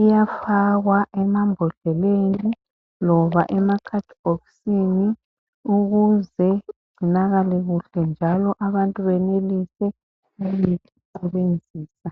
iyafakwa embodleleniloba emakhadibhkisini ukuze igcinakale kuhle njalo abantu benelise ukuyisebenzisa.